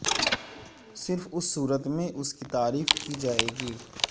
صرف اس صورت میں اس کی تعریف کی جائے گی